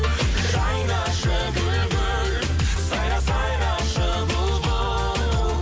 жайнашы гүл гүл сайра сайрашы бұлбұл